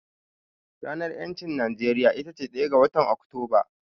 Ranar ƴancin a Najeriya itace ɗaya ga watan Oktoba.